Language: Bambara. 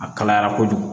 A kalayara kojugu